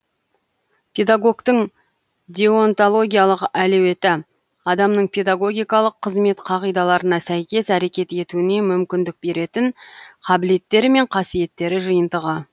педагогтің деонтологиялық әлеуеті адамның педагогикалық қызмет қағидаларына сәйкес әрекет етуіне мүмкіндік беретін қабілеттері мен қасиеттері жиынтығы